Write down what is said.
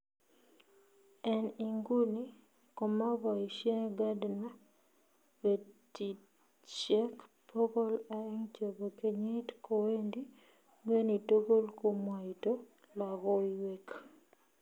en inguni komapoisien Gardner petitsiek pogol aeng chepo kenyiit kowendi ngweny tugul komwaito logoiwek